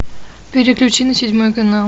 переключи на седьмой канал